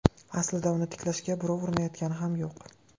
Aslida uni tiklashga birov urinayotgani ham yo‘q.